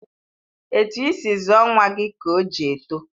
Etu isi zụọ nwa gị ka o ji etọ.